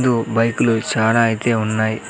బైకులు చానా అయితే ఉన్నాయి.